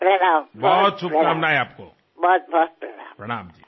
అనేకానేక ప్రణామాలు